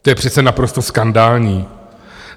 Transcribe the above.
To je přece naprosto skandální!